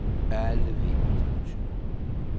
Alle ved, hvad det betyder.